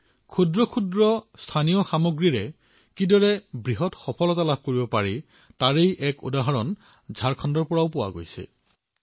সৰু সৰু স্থানীয় সামগ্ৰীৰ পৰা কিদৰে সফলতা লাভ কৰিব পাৰি ইয়াৰ এক উদাহৰণ ঝাৰখণ্ডৰ পৰাও লাভ কৰিব পাৰি